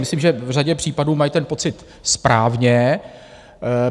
Myslím, že v řadě případů mají ten pocit správně.